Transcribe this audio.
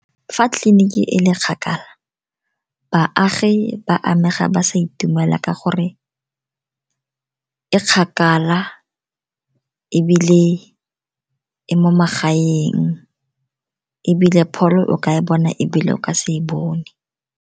Fa tleliniki e le kgakala baagi ba amega ba sa itumela ka gore e kgakala, ebile e mo magaeng, ebile pholo o ka e bona ebile o ka se e bone.